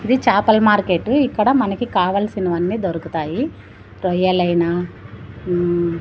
ఇది చాపల మార్కెట్ ఇక్కడ మనకి కావాల్సినవన్నీ దొరుకుతాయి రొయ్యలైన ఉమ్ --